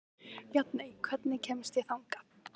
Bjarney, hvernig kemst ég þangað?